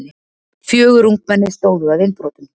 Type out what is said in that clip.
Fjögur ungmenni stóðu að innbrotum